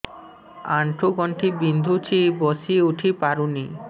ଆଣ୍ଠୁ ଗଣ୍ଠି ବିନ୍ଧୁଛି ବସିଉଠି ପାରୁନି